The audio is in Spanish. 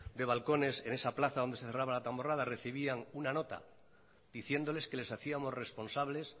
de balcones en esa plaza donde se celebraba la tamborrada recibían una nota diciéndoles que les hacíamos responsables